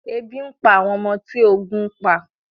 Ebi ń pa àwọn ọmọ tí ogun ń pa